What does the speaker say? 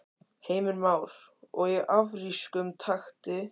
Heimir Már: Og í afrískum takti?